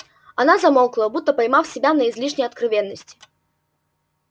она замолкла будто поймав себя на излишней откровенности